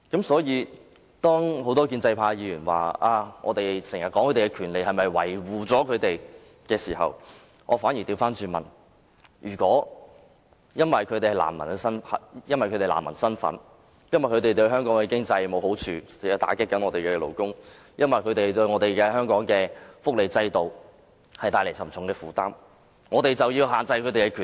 因此，當很多建制派議員質疑我們談論難民權利是為了維護他們的時候，我便要反過來問：是否因為他們具有難民的身份，對香港經濟沒有好處，會打擊本地勞工，對香港福利制度帶來沉重負擔，我們便要限制他們的權利？